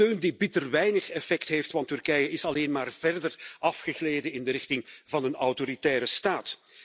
Steun die bitter weinig effect heeft, want Turkije is alleen maar verder afgegleden in de richting van een autoritaire staat.